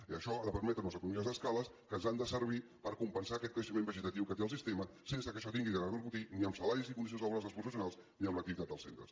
i això ha de permetre unes economies d’escala que ens han de servir per compensar aquest creixement vegetatiu que té el sistema sense que això hagi de repercutir ni en salaris i condicions laborals dels professionals ni en l’activitat dels centres